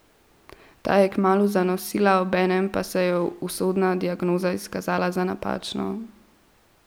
Ta je kmalu zanosila, obenem pa se je usodna diagnoza izkazala za napačno.